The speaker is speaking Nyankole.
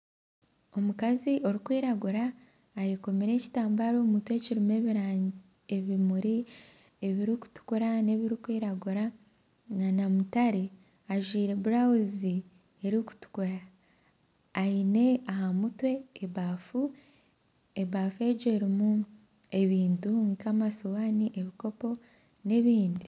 Omukazi arukwiragura ayekomire ekitambara omu mutwe kirumu ebimuri ebirukutukura , nebirukwiragura nana mutare ajwire burawuzi erukutukura aine aha mutwe ebafu erumu ebintu nka amasuwani, ebikopo n'ebindi.